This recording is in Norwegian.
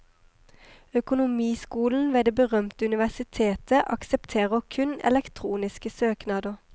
Økonomiskolen ved det berømte universitetet aksepterer kun elektroniske søknader.